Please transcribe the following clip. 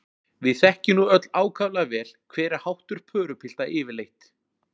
Við þekkjum nú öll ákaflega vel, hver er háttur pörupilta yfirleitt.